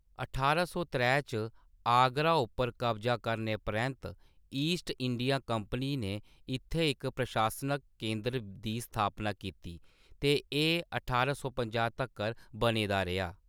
अठारां सौ त्रै च आगरा उप्पर कब्जा करने परैंत्त, ईस्ट इंडिया कंपनी ने इत्थैं इक प्रशासनक केंदर दी स्थापना कीती ते एह् ठारां सौ पंजाह् तक्कर बने दा रेहा।